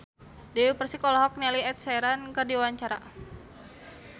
Dewi Persik olohok ningali Ed Sheeran keur diwawancara